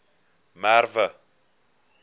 merwe